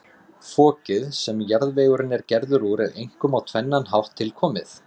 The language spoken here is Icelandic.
Fokið, sem jarðvegurinn er gerður úr, er einkum á tvennan hátt tilkomið.